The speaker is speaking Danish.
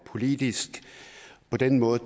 politisk på den måde